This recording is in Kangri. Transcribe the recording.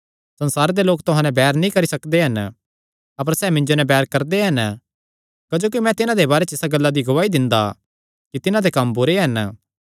संसार दे लोक तुहां नैं बैर नीं करी सकदे हन अपर सैह़ मिन्जो नैं बैर करदे हन क्जोकि मैं तिन्हां दे बारे च इसा गल्ला दी गवाही दिंदा कि तिन्हां दे कम्म बुरे हन